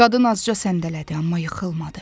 Qadın azca səndələdi, amma yıxılmadı.